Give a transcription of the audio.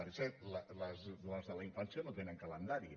per cert les de la infància no tenen calendari